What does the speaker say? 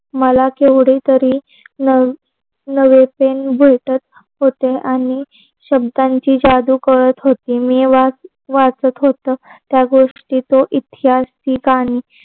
मला केवढ तरी न नवे पेन भेटत होते आणि शब्दांची जादू कळत होती. मी वाद वाचत होत त्या गोष्टी तो इतकी असताना